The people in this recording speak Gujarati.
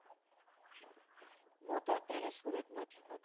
હૂતો અત્યારે સુરતમાંથી વાત કરું.